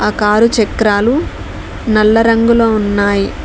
Car చక్రాలు నల్ల రంగులో ఉన్నాయి.